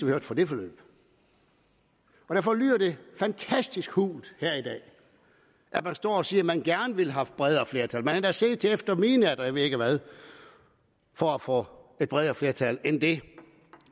hørte fra det forløb derfor lyder det fantastisk hult her i dag at man står og siger at man gerne ville have haft bredere flertal man har endda siddet til efter midnat og jeg ved ikke hvad for at få et bredere flertal end det